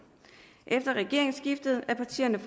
efter regeringsskiftet er partierne